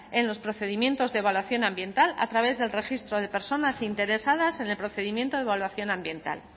en los procedimientos de evaluación ambiental a través del registro de personas interesadas en el procedimiento de evaluación ambiental